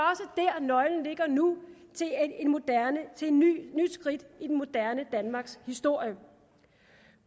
nøglen ligger nu til et nyt skridt i det moderne danmarks historie